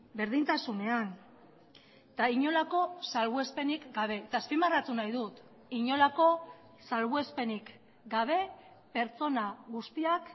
berdintasunean eta inolako salbuespenik gabe eta azpimarratu nahi dut inolako salbuespenik gabe pertsona guztiak